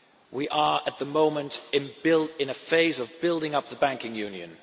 We are at the moment in a phase of building up the banking union.